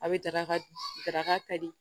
A bɛ daraka da ka ka di